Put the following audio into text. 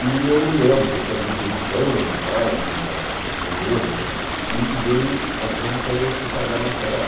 E eu me lembro que eu tinha lido isso anos atrás, num livro, e e veio a exposição e eu fui fazer a matéria lá.